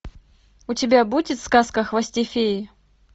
у тебя будет сказка о хвосте феи